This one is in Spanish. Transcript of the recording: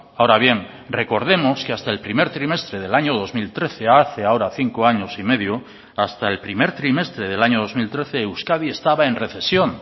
ahora bien recordemos que hasta el primer trimestre del año dos mil trece hace ahora cinco años y medio hasta el primer trimestre del año dos mil trece euskadi estaba en recesión